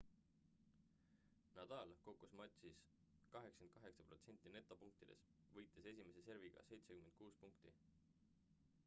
nadal kogus matšis 88% netopunktidest võites esimese serviga 76 punkti